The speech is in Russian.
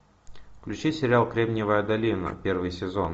включи сериал кремниевая долина первый сезон